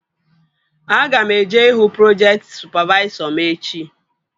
Aga m eje ihu projekti sụpavaisọ m echi